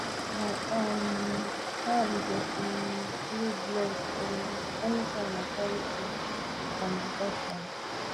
my um hand dey um feel blessed um anytime i carry food from the offering